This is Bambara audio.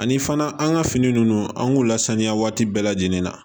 Ani fana an ka fini ninnu an k'u lasaniya waati bɛɛ lajɛlen na